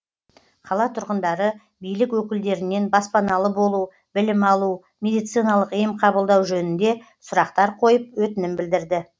қала тұрғындары билік өкілдерінен баспаналы болу білім алу медициналық ем қабылдау жөнінде сұрақтар қойып өтінім білдірді